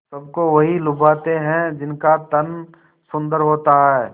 सबको वही लुभाते हैं जिनका तन सुंदर होता है